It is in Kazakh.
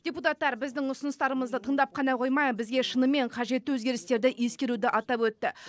депутаттар біздің ұсыныстарымызды тыңдап қана қоймай бізге шынымен қажетті өзгерістерді ескеруді атап өтті